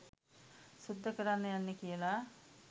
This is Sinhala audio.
සුද්ද කරන්න යන්නෙ කියලා.